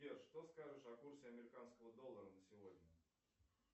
сбер что скажешь о курсе американского доллара на сегодня